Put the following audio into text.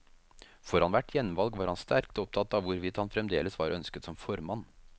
Foran hvert gjenvalg var han sterkt opptatt av hvorvidt han fremdeles var ønsket som formann.